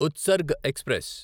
Utsarg express